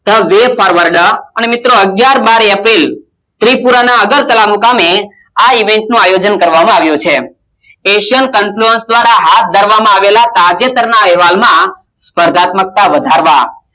The Way Forword અને મિત્રો અગિયાર બાર એપ્રિલ શ્રી પૂરાં ના અધિયાન ના નામે ના Event નું આયોજન કરવા માં આવ્યું છે Asian confulan દ્રારા હાથ ધરવામાં આવેલા તાજેતર ના અહેવાલ સપધાત્મક વધારવા